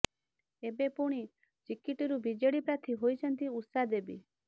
ଏବେ ପୁଣି ଚିକିଟିରୁ ବିଜେଡି ପ୍ରାର୍ଥୀ ହୋଇଛନ୍ତି ଉଷା ଦେବୀ